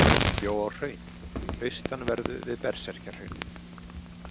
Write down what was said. Hann bjó á Hrauni, austanverðu við Berserkjahraunið.